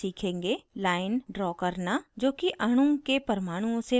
line draw करना जोकि अणु के परमाणुओं से पास होने वाली axis है